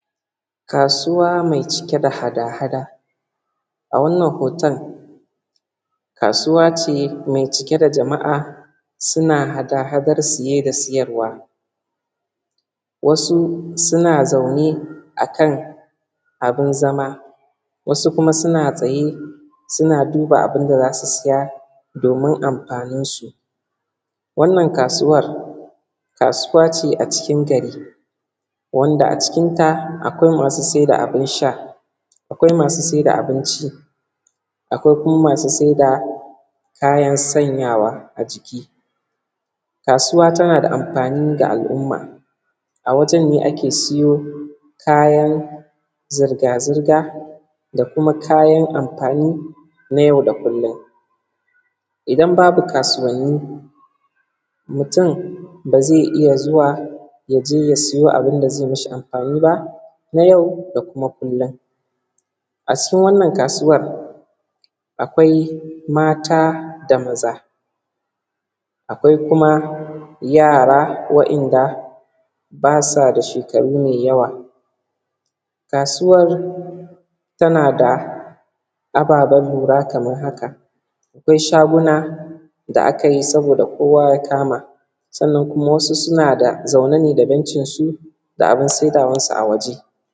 Kasuwa mai cike da hada hada, a wannan hoton kasuwa ce mai cike da jama`a suna hada hadar siye da siyarwa wasu suna zaune a kana bin zama wasu kuma suna tsaye suna duba abin da za su saya domin amfaninsu wannan kasuwar, kasuwa ce a cikin gari wanda a cikinta akwai masu sai da abin sha, akwai masu sai da abinci, akwai kuma masu sai da kayan sanyawa a jiki kasuwa tana da amfani ga al`umma a wajen ake siyo kayan zirga zirga da kuma kayan amfani na yau da kullin, idan babu kasuwanni mutum ne ba zai iya zuwa ya je ya siyo abin da zai mi shi amfani ba na yau da kuma kullun, a cikin wannan kasuwan akwai mata da maza, akwai kuma yara wa`yanda basu da shekaru mai yawa, kasuwar tana ababen lura kamar haka, akwai shaguna da aka yi sabo da kowa ya kama, sannan kuma wasu suna da zaune ne da bencinsu da abin saidawansu a waje.